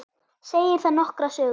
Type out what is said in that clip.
Segir það nokkra sögu.